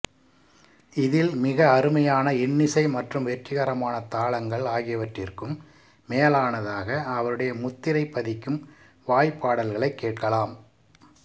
இதில் மிக அருமையான இன்னிசை மற்றும் வெற்றிகரமான தாளங்கள் ஆகியவற்றிற்கும் மேலானதாக அவருடைய முத்திரை பதிக்கும் வாய்ப் பாடல்களைக் கேட்கலாம்